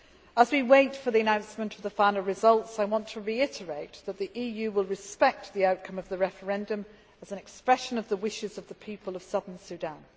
As we wait for the announcement of the final results, I want to reiterate that the EU will respect the outcome of the referendum as an expression of the wishes of the people of Southern Sudan.